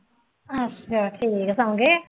ਅੱਛਾ ਠੀਕ ਸੌ ਗਏ ਹੈ